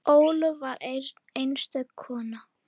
Ólöf var einstök kona.